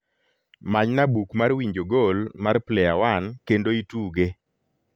manyna buk mar winjo gol mar player one kendo ituge